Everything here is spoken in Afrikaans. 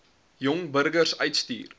jong burgers uitstuur